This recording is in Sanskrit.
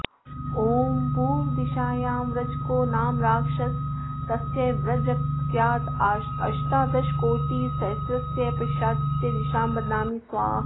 ॐ पूर्वदिशायां व्रजको नाम राक्षसस्तस्य व्रजकस्याष्टादशकोटिसहस्रस्य पिशाचस्य दिशां बध्नामि स्वाहा